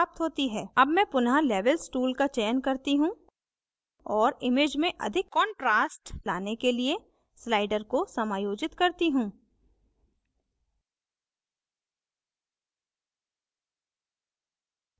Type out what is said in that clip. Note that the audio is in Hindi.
अब मैं पुनः levels tool का चयन करती हूँ और image में अधिक contrast लाने के लिए slider को समायोजित करती हूँ